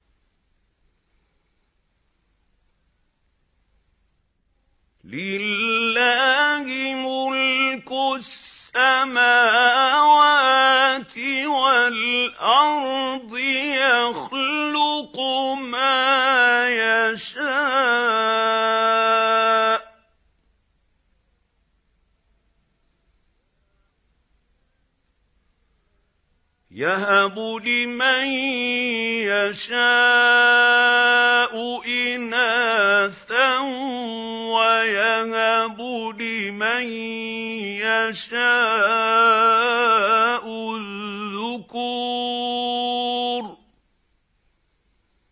لِّلَّهِ مُلْكُ السَّمَاوَاتِ وَالْأَرْضِ ۚ يَخْلُقُ مَا يَشَاءُ ۚ يَهَبُ لِمَن يَشَاءُ إِنَاثًا وَيَهَبُ لِمَن يَشَاءُ الذُّكُورَ